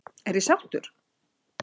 Er ég sáttur?